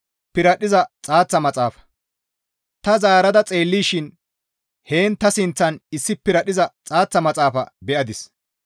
Ta zaarada xeellishin heen ta sinththan issi piradhdhiza xaaththa maxaafa be7adis.